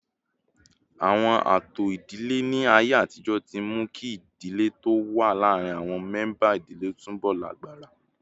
Àwọn ààtò ìdílé ní ayé àtijọ́ ti mú kí ìdè tó wà láàárín àwọn mẹ́ńbà ìdílé túbọ̀ lágbára